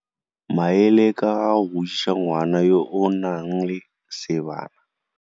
Maele ka ga go godisa ngwana yo o nang le seebana.